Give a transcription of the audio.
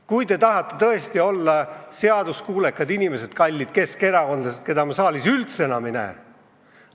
Kui te tahate tõesti olla seaduskuulekad inimesed, kallid keskerakondlased, keda ma saalis üldse enam ei näe ...